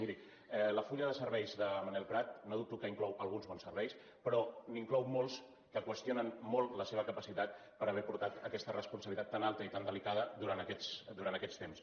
miri el full de serveis de manel prat no dubto que in clou alguns bons serveis però n’inclou molts que qüestio nen molt la seva capacitat per haver portat aquesta responsabilitat tan alta i tan delicada durant aquests temps